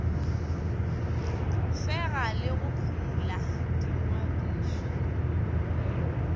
fega le go phumola dingwadišo